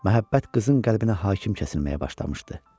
Məhəbbət qızın qəlbinə hakim kəsilməyə başlamışdı.